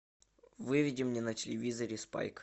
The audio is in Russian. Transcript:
выведи мне на телевизоре спайк